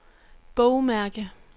bogmærke